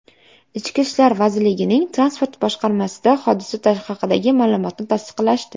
Ichki ishlar vazirligining transport boshqarmasida hodisa haqidagi ma’lumotni tasdiqlashdi.